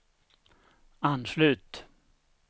anslut